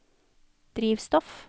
drivstoff